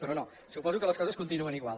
però no suposo que les coses continuen igual